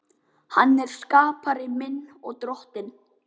Hann er skapari minn og Drottinn.